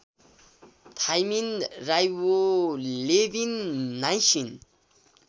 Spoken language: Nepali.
thymine riboflavin niacin